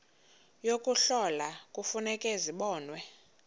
yokuhlola kufuneka zibonwe